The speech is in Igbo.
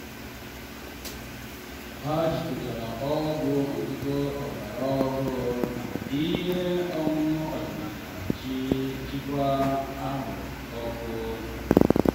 ha jikọtara ọgwụ ntụtụ ọgbara ọhụrụ na ihe ọṅụṅ ọdịnala iji jikwaa ahụ ọkụ.